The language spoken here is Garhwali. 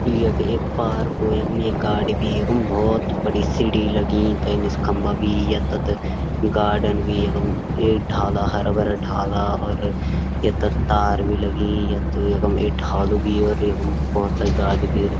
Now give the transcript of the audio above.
यु यख एक पारकु यखम एक गाड़ी बि यखम भौत बडी सीढ़ी लग्यी तै निस खंबा भी यत तत गार्डन भी यखम एक ढाला हरा भरा ढाला और यत तत तार भी लगीं यत यखम एक ढालू भी और यखम भौत सारी गाड़ी भी।